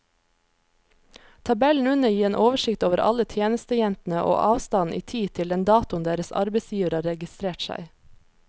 Tabellen under gir en oversikt over alle tjenestejentene og avstanden i tid til den datoen deres arbeidsgivere har registrert seg.